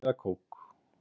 Vatn eða kók?